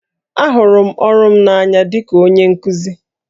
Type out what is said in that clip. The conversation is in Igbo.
Ahụrụ m ọrụ m n'anya dị ka onye nkuzi